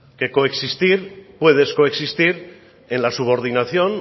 o descoexistir en la subordinación